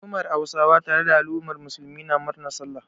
Al'ummar Hausawa tare da al'ummar Musulmi na murnar Sallah.